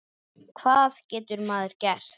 Hvað getur maður gert?